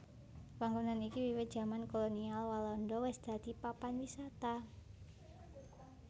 Panggonan iki wiwit jaman kolonial Walanda wis dadi papan wisata